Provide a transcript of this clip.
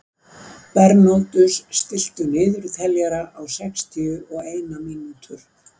Bernódus, stilltu niðurteljara á sextíu og eina mínútur.